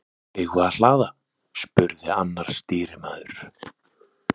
Eigum við að hlaða? spurði annar stýrimaður.